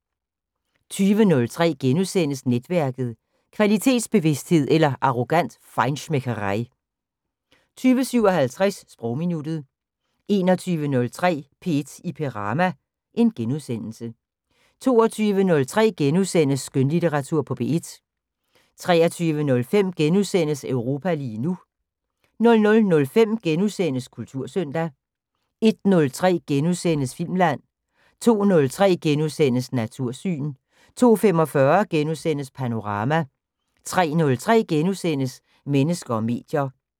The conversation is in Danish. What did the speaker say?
20:03: Netværket: Kvalitetsbevidsthed eller arrogant feinschmeckerei * 20:57: Sprogminuttet 21:03: P1 i Perama * 22:03: Skønlitteratur på P1 * 23:05: Europa lige nu * 00:05: Kultursøndag * 01:03: Filmland * 02:03: Natursyn * 02:45: Panorama * 03:03: Mennesker og medier *